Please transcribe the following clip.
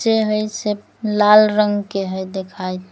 जे हई से लाल रंग के हई देखाइत ।